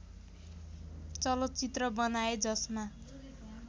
चलचित्र बनाए जसमा